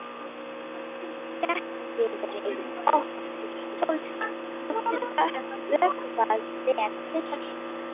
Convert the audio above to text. Bjartviðri, oft sólskin, loftið vökvað vel tvisvar sinnum.